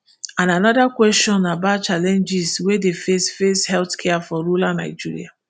and anoda kwesion about challenges wey dey face face healthcare for rural nigeria